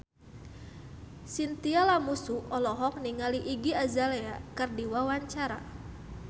Chintya Lamusu olohok ningali Iggy Azalea keur diwawancara